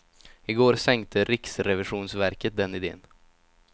I går sänkte riksrevisionsverket den iden.